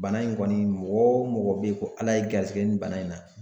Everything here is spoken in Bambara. Bana in kɔni mɔgɔ o mɔgɔ bɛ ye ko ala y'i garisigɛ nin bana in na